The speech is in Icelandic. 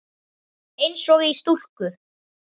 Eins og í stúku.